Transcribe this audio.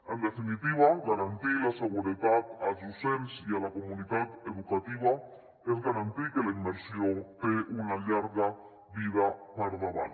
en definitiva garantir la seguretat als docents i a la comunitat educativa és garantir que la immersió té una llarga vida per davant